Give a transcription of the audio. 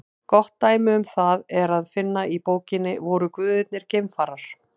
Gott dæmi um það er að finna í bókinni Voru guðirnir geimfarar?